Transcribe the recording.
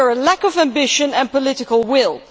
they are a lack of ambition and political will.